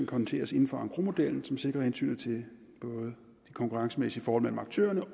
håndteres inden for engrosmodellen som både sikrer hensynet til de konkurrencemæssige forhold mellem aktørerne